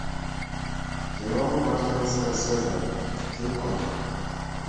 кино мартина скорсезе кинконг